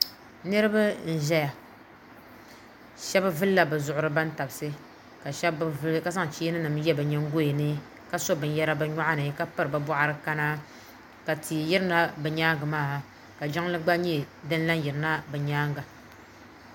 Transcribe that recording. Niraba n ʒɛya shab vulla bi zuɣuri bantabsi ka shab bi vuli ka zaŋ cheeni nim n yɛ bi nyingoya ni ka so binyɛra bi nyoɣano ka piri bi boɣari kana ka tia yirina bi nyaanŋa maa ka jiŋli gna lahi yirina bi nyaanga